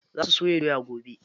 Za su soya doya gobe.